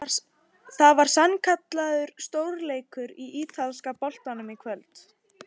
Það var sannkallaður stórleikur í ítalska boltanum í kvöld!